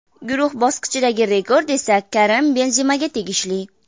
Guruh bosqichidagi rekord esa Karim Benzemaga tegishli.